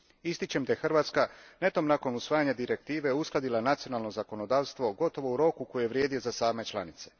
Ističem da je Hrvatska netom nakon usvajanja Direktive uskladila nacionalno zakonodavstvo gotovo u roku koji je vrijedio za same članice.